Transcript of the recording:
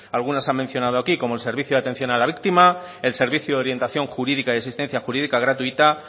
algunos se han mencionado aquí como el servicio de atención a la víctima el servicio de orientación jurídica y existencia jurídica gratuita